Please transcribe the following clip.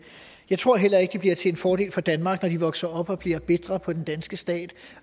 jeg tror heller ikke det bliver til en fordel for danmark når de vokser op og bliver bitre på den danske stat